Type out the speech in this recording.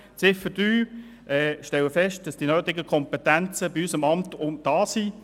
Zu Ziffer 3: Ich stelle fest, dass die nötigen Kompetenzen bei unserem Amt vorhanden sind.